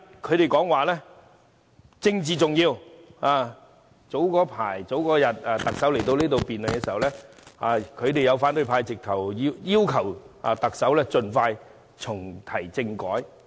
他們經常說政治重要；在特首早前來到立法會出席答問會時，他們要求特首盡快重啟政改。